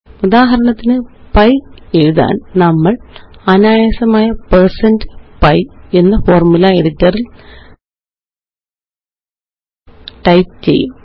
ഉദാഹരണത്തിന് പൈ എഴുതാന് നമ്മള് അനായാസം160pi എന്ന്Formula എഡിറ്റർ റില് ടൈപ്പ് ചെയ്യും